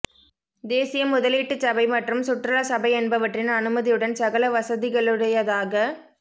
தேசிய முதலீட்டுச்சபை மற்றும் சுற்றுலா சபை என்பவற்றின் அனுமதியுடன் சகல வசதிகளுடையதாக